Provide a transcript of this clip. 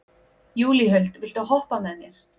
Júlíhuld, viltu hoppa með mér?